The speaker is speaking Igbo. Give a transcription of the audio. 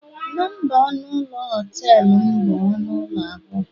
Nọmba ọnụ ụlọ họtelum bụ ọnụ ụlọ abụọ